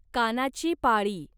कानाची पाळी